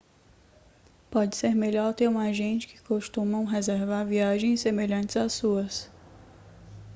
pode ser melhor ter um agente que costuma reservar viagens semelhantes às suas